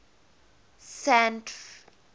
sandf